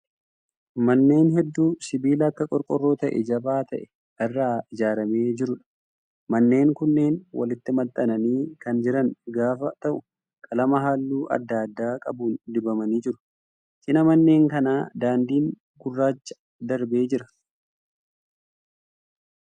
Manneen hedduu sibiila akka qorqorroo ta'ee jabaa ta'e irraa ijaaramee jiruudha. Manneen kunneen walitti maxxananii kan jiran gaafa ta'u qalama halluu adda addaa qabuun dibamanii jiru. Cina manneen kanaa daandiin gurraachaa darbee jira.